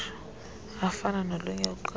afana nolunye uqeqesho